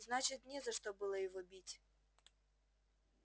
значит не за что было его бить